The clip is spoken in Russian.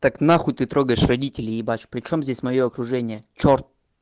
так нахуй ты трогаешь родителей ебашь при чем здесь моё окружение чёрт